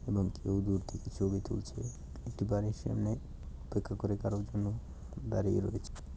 এবং কেউ দূর থেকে ছবি তুলছে একটি বাড়ির সামনে অপেক্ষা করে কারোর জন্য দাঁড়িয়ে রয়েছে।